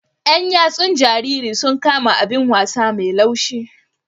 Yan yatsun jaririn sun kama abin wasa mai laushi.